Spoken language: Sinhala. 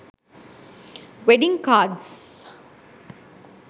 wedding cards